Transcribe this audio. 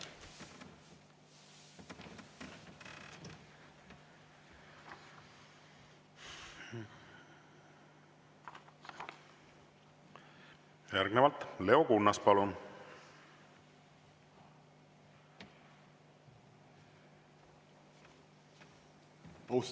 Järgnevalt Leo Kunnas, palun!